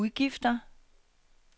udgifter